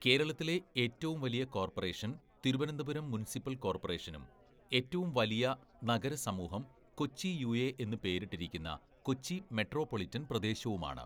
കേരളത്തിലെ ഏറ്റവും വലിയ കോർപ്പറേഷൻ തിരുവനന്തപുരം മുനിസിപ്പൽ കോർപ്പറേഷനും ഏറ്റവും വലിയ നഗരസമൂഹം കൊച്ചി യുഎ എന്ന് പേരിട്ടിരിക്കുന്ന കൊച്ചി മെട്രോപൊളിറ്റൻ പ്രദേശവുമാണ്.